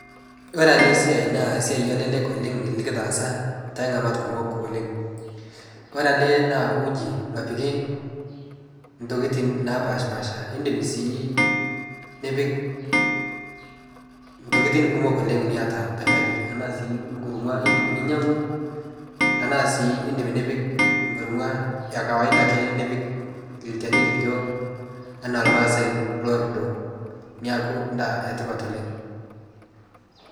Ore ele siai naa esiai nalelek oooleng nikitaasa to temat kumok. Ore ade nabo aaku ji napiki tokitin napashipasha idim si nipik tokitin kumok oooleng niata te kaji anaa sii nkurma idim ninyangu anaa si idim nipik ekurma ekawaida ake ee nipik ilchani likijo anaa irmaasai lorido neaku edaa etipat oooleng.